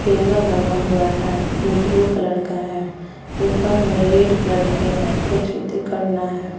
Table बना हुआ है जो ब्लू कलर का है। उपर में रेड कलर के कुछ है।